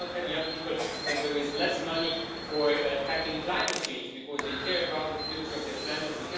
We cannot tell young people that there is less money for tackling climate change, because they care about the future of their planet.